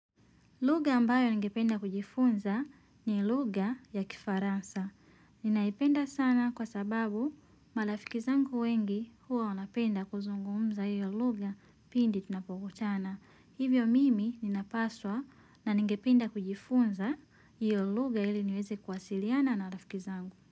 Lugha ambayo ningependa kujifunza ni lugha ya Kifaransa. Ninaipenda sana kwa sababu marafiki zangu wengi huwa wanapenda kuzungumza hiyo lugha pindi tunapokutana. Hivyo mimi ninapaswa na ningependa kujifunza hiyo lugha ili niweze kuwasiliana na rafiki zangu.